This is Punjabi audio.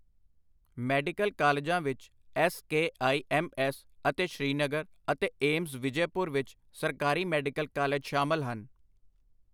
ਮੈਡੀਕਲ ਕਾਲਜਾਂ ਵਿੱਚ S K I M S ਅਤੇ ਸ੍ਰੀਨਗਰ ਅਤੇ ਏਮਜ਼ ਵਿਜੈਪੁਰ ਵਿੱਚ ਸਰਕਾਰੀ ਮੈਡੀਕਲ ਕਾਲਜ ਸ਼ਾਮਲ ਹਨ।